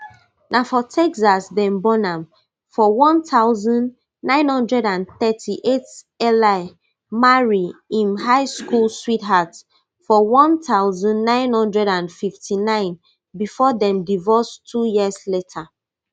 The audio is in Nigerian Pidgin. na for texas dem born am for one thousand, nine hundred and thirty-eight marry im high school sweetheart for one thousand, nine hundred and fifty-nine bifor dem divorce two years later